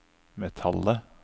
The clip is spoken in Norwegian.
metallet